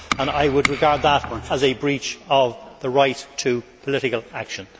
I would regard that as a breach of the right to political action.